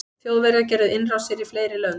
þjóðverjar gerðu innrásir í fleiri lönd